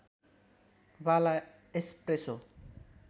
वाला एस्प्रेसो